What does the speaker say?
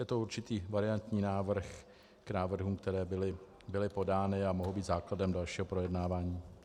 Je to určitý variantní návrh k návrhům, které byly podány a mohou být základem dalšího projednávání.